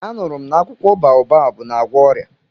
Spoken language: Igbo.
Anụrụ m na akwụkwọ baobabu na-agwọ ọrịa.